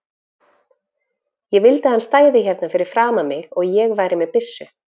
Ég vildi að hann stæði hérna fyrir framan mig og ég væri með byssu.